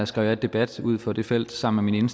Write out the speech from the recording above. skrev jeg debat ud for det felt sammen med min